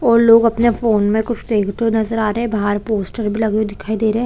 --और लोग अपने फोन में कुछ देखते हुए नज़र आ रहे है बाहर पोस्टर भी लगे हुए दिख रहे है।